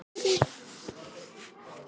Þú hlýtur að geta séð það sjálfur.